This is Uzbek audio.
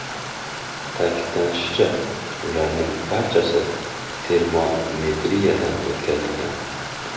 Ta’kidlanishicha, ularning barchasi termometriyadan o‘tkazilgan.